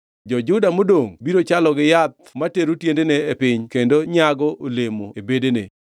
Jo-Juda modongʼ biro chalo gi yath matero tiendene piny kendo nyago olemo e bedene.